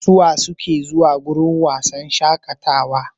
Suwa suke zuwa wuraren shaƙatawa?